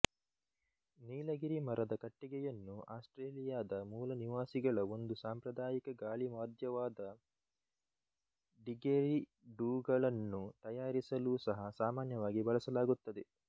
ನೀಲಗಿರಿ ಮರದ ಕಟ್ಟಿಗೆಯನ್ನು ಆಸ್ಟ್ರೇಲಿಯಾದ ಮೂಲನಿವಾಸಿಗಳ ಒಂದು ಸಾಂಪ್ರದಾಯಿಕ ಗಾಳಿವಾದ್ಯವಾದ ಡಿಗೆರಿಡೂಗಳನ್ನು ತಯಾರಿಸಲೂ ಸಹ ಸಾಮಾನ್ಯವಾಗಿ ಬಳಸಲಾಗುತ್ತದೆ